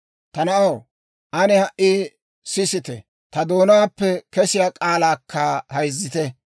Ta naanaw, ane ha"i sisite; ta doonaappe kesiyaa k'aalaakka hayzzite.